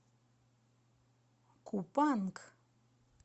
купанг